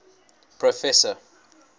professor